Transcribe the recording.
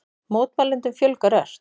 Mótmælendum fjölgar ört